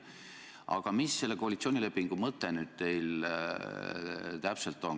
Aga mis selle koalitsioonilepingu punkti mõte täpselt on?